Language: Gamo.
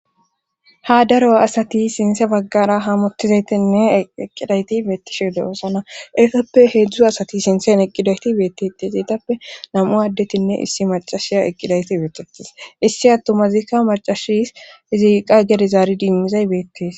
Ha daro asati sinththa baggara hamottizaytinne eqqidayti beetishShe de'oosana etappe heedzdzu asati sinththen eqqidayti beettete zeetappe nam'u addetinne issi macashiya eqqidayti beettetees issi attomazika macashis iziikka gede zaari diimmizay beettees.